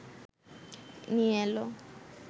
নিয়ে এল